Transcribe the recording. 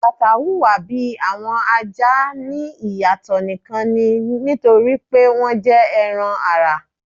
Akata huwa bi awọn aja ni iyatọ nikan ni nitori pe wọn jẹ ẹran-ara